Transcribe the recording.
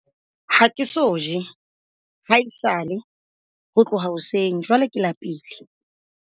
ha ke so je ha esale ho tloha hoseng jwale ke lapile.